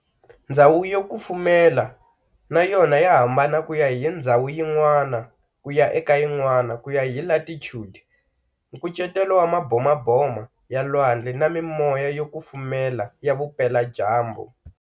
Ndzhawu yo kufumela nayona ya hambana kuya hi ndzhawu yin'wana kuya eka yin'wana kuya hi latitude, nkucetelo wa maboboma ya lwandle na mimoya yo kufumela ya vupela dyambu.